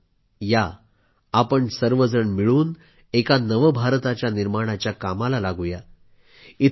चला तर मग या आपण सर्वजण मिळून एका नव भारताच्या निर्माणाच्या कामाला लागू या